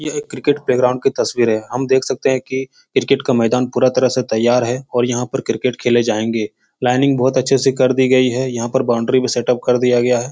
य एक cricket playground की तस्वीर है। हम देख सकते हैं कि क्रिकेट का मैदान पूरा तरह से तैयार है और यहाँ पर क्रिकेट खेले जायेंगे। लाइनिंग बोहोत अच्छे से कर दी गयी है। यहाँ पर बाउंड्री भी सेटअप कर दिया गया है।